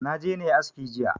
Na je na yi aski jiya